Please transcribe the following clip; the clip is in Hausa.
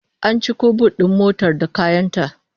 An ciko but din motar da kayan ta